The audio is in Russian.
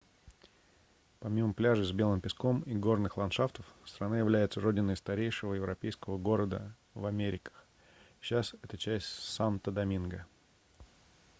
помимо пляжей с белым песком и горных ландшафтов страна является родиной старейшего европейского города в америках сейчас это часть санто-доминго